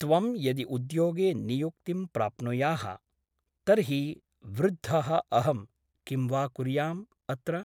त्वं यदि उद्योगे नियुक्तिं प्राप्नुयाः तर्हि वृद्धः अहं किं वा कुर्याम् अत्र ?